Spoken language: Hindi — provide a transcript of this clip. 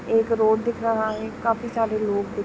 एक रोड दिख रहा है खाफी सारे लोग द--